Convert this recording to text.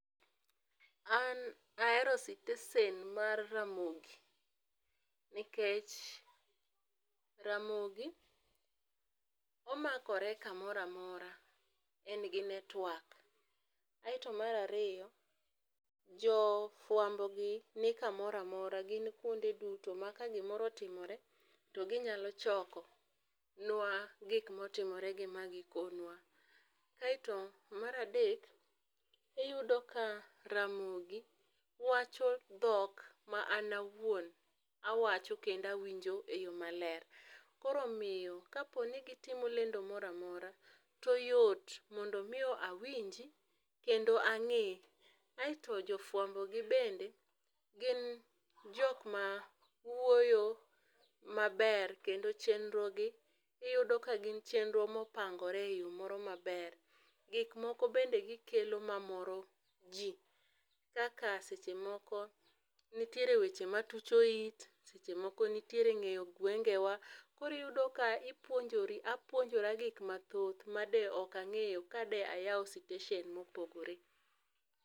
An ahero sitesen mar ramogi nikech, ramogi omakore ka moro amora en gi network. Aito mar ariyo jo fwambo gi ni ka moro amora gin kuonde duto ma ka gi moro otimore to gi nyalo choko nwa gik ma otimore gi ma gi konwa, aito mar adek iyudo ka ramogi wacho dhok ma an awuon awacho kendo awinjo e yo ma ler. Koro omiyo ka po ni gi timo lendo moro amora to yot mondo mi awinji kendo ang'ee. Aito jo fwambo gi bende gin jok ma wuoyo ma ber kendo chenro gi iyudo ka gin chenro ma opangre e yo moro ma ber. Gik moko be gi kelo ma moro ji kaka seche moko nitiere weche ma tucho it seche moko nitiee ngeyo gwengewa. koo iyudo ka ipuonjori apuonjora gik ma thoth ma de ok ang'eyo ka de ayawo sitesen ma opogore.